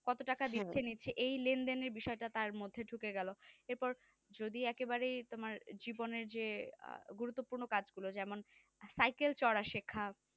আর কত টাকা দিচ্ছে নিচ্ছে এই লেন দিনে বিষয়টা তার মধ্যে ঢুকে গেল এরপর যদি একে বাড়ে তোমার জীবনে যে গুরুপ্তপূর্ণ কাজ গুলো যেমন সাইকেল চলা সেখ